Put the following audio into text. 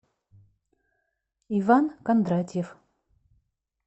иван кондратьев